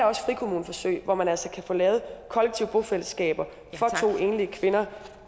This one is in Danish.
også frikommuneforsøg hvor man altså kan få lavet kollektive bofællesskaber for to enlige kvinder